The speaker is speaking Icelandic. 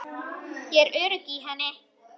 Ég er örugg í henni.